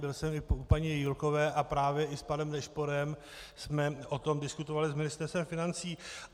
Byl jsem i u paní Jílkové a právě i s panem Nešporem jsme o tom diskutovali s Ministerstvem financí.